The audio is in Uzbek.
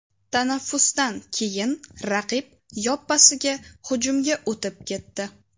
Tanaffusdan keyin raqib yoppasiga hujumga o‘tib ketdi.